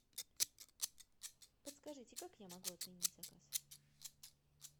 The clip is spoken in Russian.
подскажите как я могу отменить заказ